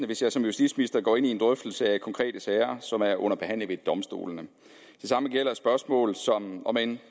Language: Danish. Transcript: hvis jeg som justitsminister går ind i en drøftelse af konkrete sager som er under behandling ved domstolene det samme gælder spørgsmål som om end